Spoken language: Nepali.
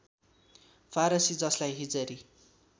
फारसी ‎जसलाई हिजरी